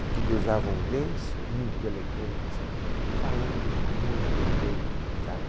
Aqui ele usava um lenço muito elegante, falando muito bem, sabe?